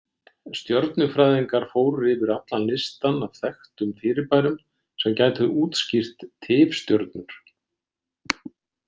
Stjörnufræðingar fóru yfir allan listann af þekktum fyrirbærum sem gætu útskýrt tifstjörnur.